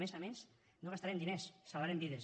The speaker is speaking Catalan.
i a més a més no gastarem diners salvarem vides